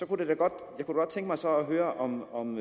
kunne godt tænke mig så at høre om om